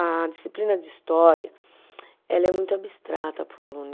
A disciplina de história, ela é muito abstrata para o aluno.